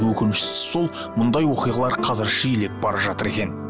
өкініштісі сол мұндай оқиғалар қазір жиілеп бара жатыр екен